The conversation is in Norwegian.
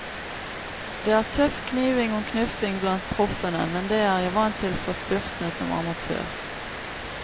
Det er tøff kniving og knuffing blant proffene, men det er jeg vant til fra spurtene som amatør.